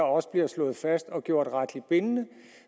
også bliver slået fast og gjort retligt bindende